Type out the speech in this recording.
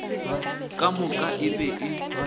ka moka e be e